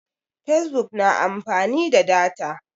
fesbuk na amfani da data